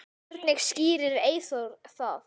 Hvernig skýrir Eyþór það?